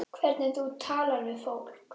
Hvernig þú talar við fólk.